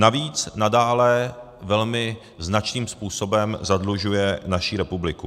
Navíc nadále velmi značným způsobem zadlužuje naší republiku.